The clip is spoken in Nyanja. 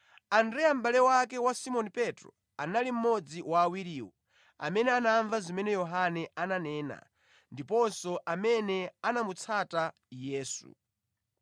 Andreya mʼbale wake wa Simoni Petro, anali mmodzi wa awiriwo amene anamva zimene Yohane ananena ndiponso amene anamutsata Yesu.